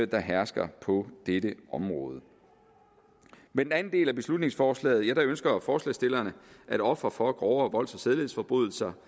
der hersker på dette område med den anden del af beslutningsforslaget ønsker forslagsstillerne at ofre for grovere volds og sædelighedsforbrydelser